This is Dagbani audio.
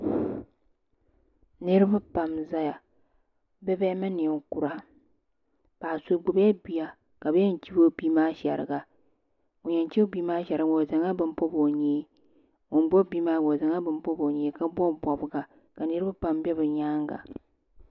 niraba pam n ʒɛya bia bihi mini ninkura paɣa so gbubila bia ka bi yɛn chibi o bia maa shɛriga ŋun yɛn chibi bia maa shɛrigi maa o zaŋla bini pobi o nyee ŋun gbubi bia maa gba o zaŋla bini pobi o nyee ka biraba pam bɛ bi nyaanga